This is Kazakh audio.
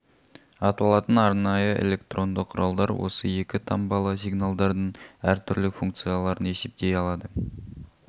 аталатын арнайы электронды құралдар осы екі таңбалы сигналдардың әр түрлі функцияларын есептей алады